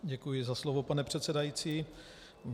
Děkuji za slovo, pane předsedající.